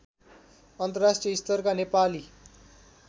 अन्तर्राष्ट्रिय स्तरका नेपाली